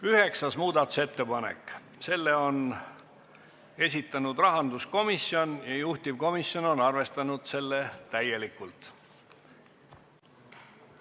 Üheksas muudatusettepanek, selle on esitanud rahanduskomisjon ja juhtivkomisjon on arvestanud seda täielikult.